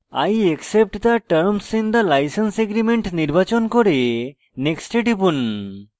i accept the terms in the license agreement নির্বাচন করে next এ টিপুন